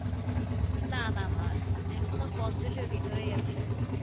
স্যাট এর নিচে না না না এখনো পঞ্ছাশ এর ভিতরে আছে।